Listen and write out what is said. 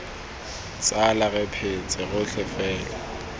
tsala re phetse rotlhe fela